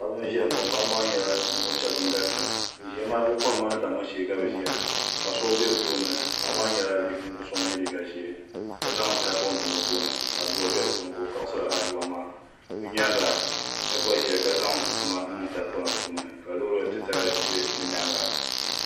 Paɣiba n ziya ŋɔ bi ziya maa bi kɔhima ni damma shɛɛ n bala paɣa so bɛ bi tooni paɣa maa yɛla ninvuɣ'so ŋun yiɛ liiga zɛɛ ka zaŋ tahipɔŋ ka adua bɛ di puuni ka o kaɣisiri adua maa bi yɛanga shɛb gba ziya ka zaŋ sima niŋ tahipɔna puuni ka loori titali bɛ bi yɛanga.